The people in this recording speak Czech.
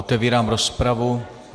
Otevírám rozpravu.